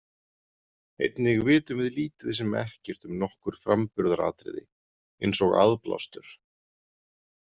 Einnig vitum við lítið sem ekkert um nokkur framburðaratriði eins og aðblástur.